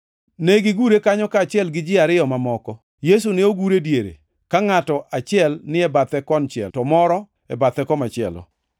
Negigure kanyo, kaachiel gi ji ariyo mamoko. Yesu ne ogur e diere, ka ngʼato achiel ni e bathe konchiel to moro e bathe komachielo.